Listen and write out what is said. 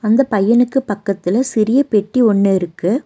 இந்த பையனுக்கு பக்கத்துல சிறிய பெட்டி ஒன்னு இருக்கு.